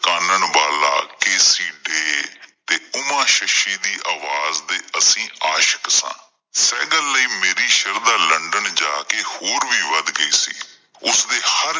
ਚਾਨਣ ਬਾਲਾ ਤੇ ਉਮਾ ਸ਼ਸ਼ੀ ਦੀ ਆਵਾਜ਼ ਦੇ ਅਸੀਂ ਆਸ਼ਕ ਸਾਂ। ਸਹਿਗਲ ਲਈ ਮੇਰੇ ਸ਼ਰਧਾਂ ਲੰਦਨ ਜਾ ਕਿ ਹੋਰ ਵੀ ਵੱਧ ਗਈ ਸੀ ਉਸ ਦੇ ਹਰ